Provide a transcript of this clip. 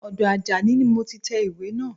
Ọdọ Àjàní ni mo ti tẹ ìwé naa